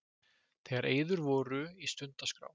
Þegar eyður voru í stundaskrá